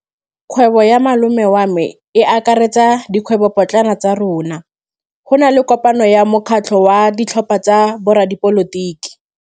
Kgwêbô ya malome wa me e akaretsa dikgwêbôpotlana tsa rona. Go na le kopanô ya mokgatlhô wa ditlhopha tsa boradipolotiki.